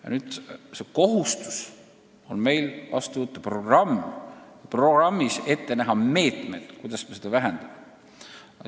Ja nüüd on meil kohustus vastu võtta programm, kus on kirjas meetmed, kuidas me seda vähendame.